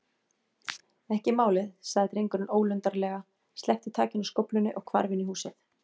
Ekki málið- sagði drengurinn ólundarlega, sleppti takinu á skóflunni og hvarf inn í húsið.